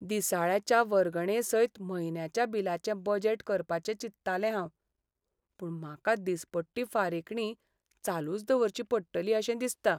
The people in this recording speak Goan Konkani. दिसाळ्याच्या वर्गणेसयत म्हयन्याच्या बिलाचें बजेट करपाचें चिंत्तालें हांव, पूण म्हाका दिसपट्टी फारीकणी चालूच दवरची पडटली अशें दिसता.